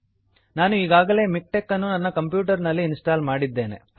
ನಾನು ಈಗಾಗಲೇ ಮಿಕ್ಟೆಕ್ ಅನ್ನು ನನ್ನ ಕಂಪ್ಯೂಟರ್ ನಲ್ಲಿ ಇನ್ಸ್ಟಾಲ್ ಮಾಡಿದ್ದೇನೆ